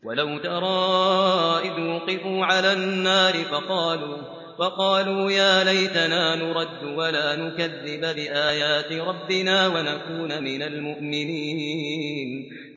وَلَوْ تَرَىٰ إِذْ وُقِفُوا عَلَى النَّارِ فَقَالُوا يَا لَيْتَنَا نُرَدُّ وَلَا نُكَذِّبَ بِآيَاتِ رَبِّنَا وَنَكُونَ مِنَ الْمُؤْمِنِينَ